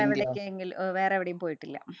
~ടേക്കെങ്കിലും അഹ് വേറെ എവിടേം പോയിട്ടില്ല.